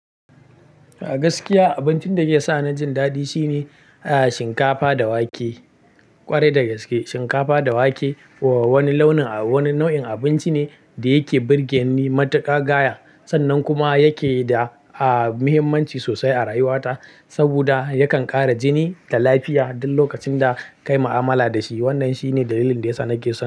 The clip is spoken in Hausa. A gaskiya abincin da yake sa ni jin daɗi shine shinkafa da wake. Kwarai da gaske shinkafa da wake wani launin-- wani nau'in abinci ne da yake birgen ni matuƙa gaya sannan kuma yake da, aah, muhimmanci sosai a rayuwata saboda yakan ƙara jini da lafiya duk lokacin da kayi ma'amala da shi. Wannan shine dalilin da yasa nake so.